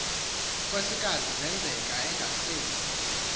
nkosikaz senzeka engasezi